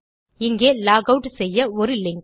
இங்கே log out செய்ய ஒரு லிங்க்